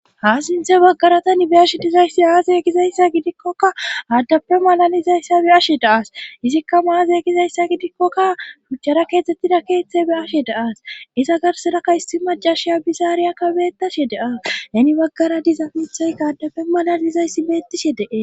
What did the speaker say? ha sinthe baggaratan be ashe dizayssi aaze gizayssa gidikkokka aaddafe malalizayssa be ashe daas izikka maaze gizayssa gidikkokka phuchchara keetzdzettida keethe be ashe daas iza garseraka hissi macashiya bizaariyakka beettashe daas heni baggara dizafithayka addafe malalizayssi beettishe dee